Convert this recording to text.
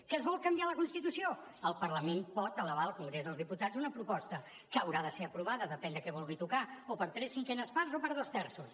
que es vol canviar la constitució el parlament pot elevar al congrés dels diputats una proposta que haurà de ser aprovada depèn del que vulgui tocar o per tres cinquenes parts o per dos terços